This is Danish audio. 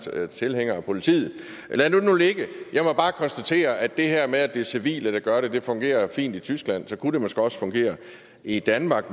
tilhængere af politiet lad det nu ligge jeg må bare konstatere at det her med at det er civile der gør det fungerer fint i tyskland så kunne det måske også fungere i danmark